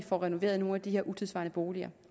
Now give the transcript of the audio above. får renoveret nogle af de her utidssvarende boliger